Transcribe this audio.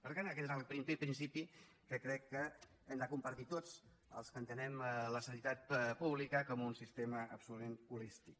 per tant aquest és el primer principi que crec que hem de compartir tots els que entenem la sanitat pública com un sistema absolutament holístic